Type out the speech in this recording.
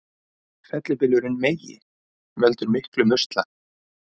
Fellibylurinn Megi veldur miklum usla